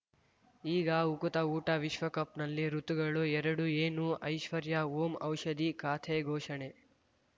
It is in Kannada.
ಈಗ ಉಕುತ ಊಟ ವಿಶ್ವಕಪ್‌ನಲ್ಲಿ ಋತುಗಳು ಎರಡು ಏನು ಐಶ್ವರ್ಯಾ ಓಂ ಔಷಧಿ ಖಾತೆ ಘೋಷಣೆ